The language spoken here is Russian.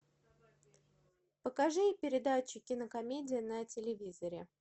покажи передачу кинокомедия на телевизоре